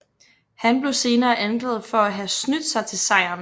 Han blev senere anklaget for at have snydt sig til sejren